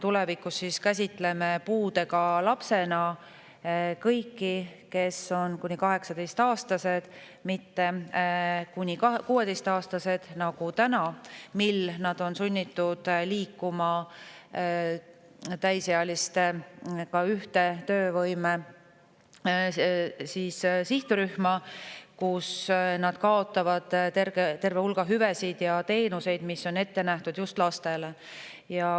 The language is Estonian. Tulevikus käsitleme puudega lapsena kõiki, kes on kuni 18-aastased, mitte kuni 16-aastased nagu täna, misjärel nad on sunnitud liikuma täisealistega ühte töövõime sihtrühma, kus nad kaotavad terve hulga hüvesid ja teenuseid, mis on ette nähtud just lastele.